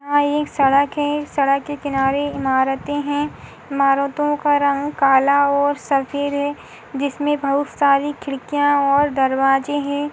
यहा एक सड़क है सड़क के किनारे इमारते है इमारतों का रंग काला और सफ़ेद है जिसमे बहुत सारी खिडकियां और दरवाजे है।